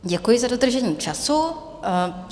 Děkuji za dodržení času.